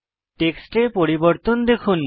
টেক্সটে পরিবর্তন দেখুন